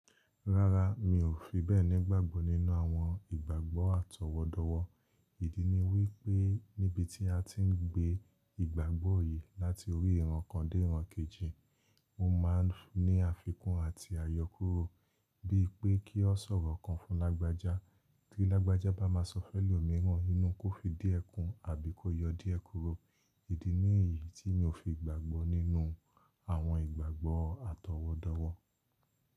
Rárá, mi ò fi bẹ́ẹ̀ ní gbàgbọ́ nínú àwọn ìgbàgbọ́ àtọwọ́dọ́wọ́. Ìdí ni wípé níbi tí a ti ń gbé ìgbàgbọ́ yìí láti orí iran kan dé iran kejì, ó ma ń ní àfikún àti àyọkúrò. Bí i pé kí ọ sọ̀rọ̀ kan fún lágbájá, tí lágbájá bá ma sọ fẹ́ẹ̀lo mìíràn inú ko fi dié kún àbí kó yọ dié kúrò. Ìdí ni èyí tí mi ò fi gbàgbọ́ nínú àwọn ìgbàgbọ́ àtọwọ́dọ́wọ́.